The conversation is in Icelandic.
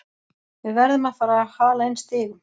Við verðum að fara að hala inn stigum.